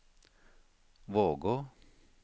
Vågå